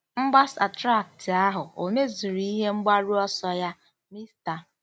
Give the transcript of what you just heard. Mgbasa traktị ahụ ò mezuru ihe mgbaru ọsọ ya? Mr.